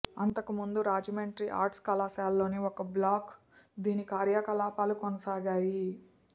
అంతకుముందు రాజమండ్రి ఆర్ట్స్ కళాశాలలోని ఒక బ్లాకు దీని కార్యకలాపాలు కొనసాగాయి